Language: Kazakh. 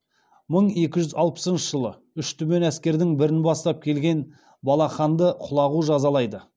мың екі жүз алпысыншы жылы үш түмен әскердің бірін бастап келген балаханды құлағу жазалайды